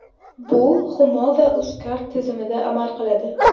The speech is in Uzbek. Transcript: Bu Humo va UzCard tizimida amal qiladi.